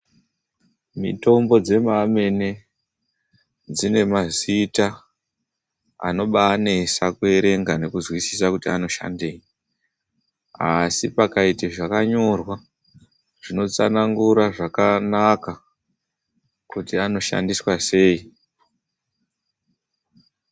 Mitombo dzemamene dzinemazita anobaanesa kuerenga nekuzwisisa kuti anoshandei, asi pakaita zvakanyorwa zvinotsanangura zvakanaka kuti anoshandiswa sei.